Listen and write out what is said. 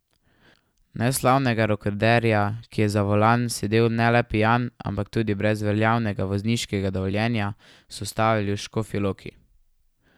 Neslavnega rekorderja, ki je za volan sedel ne le pijan, ampak tudi brez veljavnega vozniškega dovoljenja, so ustavili v Škofji Loki.